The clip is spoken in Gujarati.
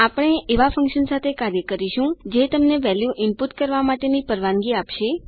આપણે એવા ફન્કશન સાથે કાર્ય કરીશું જે તમને વેલ્યુ ઈનપુટ કરવા માટેની પરવાનગી આપશે